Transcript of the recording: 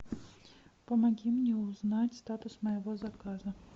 помоги мне узнать статус моего заказа